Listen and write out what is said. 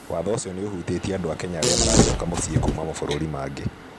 Watho ũcio nĩ ũvutĩtie andũ a Kenya arĩa maracoka mũciĩ kuuma mavũrũri mangĩ.